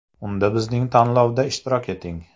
Unda bizning tanlovda ishtirok eting!